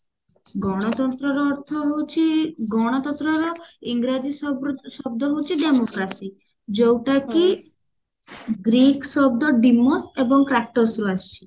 ଗଣତନ୍ତ୍ର ର ଅର୍ଥ ହଉଛି ଗଣତନ୍ତ୍ର ର ଇଂରାଜୀ ଶବ୍ଦ ହଉଛି democracy ଯୋଉଟା କି ଗ୍ରୀକ ଶବ୍ଦ ଡେମୋସ ଏବଂ କ୍ରାଟୋସ ରୁ ଆସିଛି